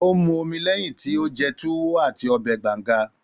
Ó ń mu omi lẹ́yìn tí mo jẹ Tuwo àti ọbẹ̀ Banga